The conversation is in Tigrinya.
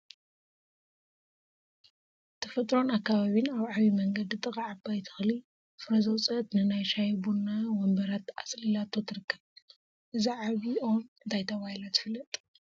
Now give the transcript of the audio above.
ተፈጥሮን አከባቢን አብ ዓብይ መንገዲ ጥቃ ዓባይ ተክሊ ፍረ ዘውፅአት ንናይ ሻሂ ቡና ወንበራት አፅሊላቶ ትርከብ፡፡ እዛ ዓበይ ኦም እንታይ ተባሂላ ትፍለጥ?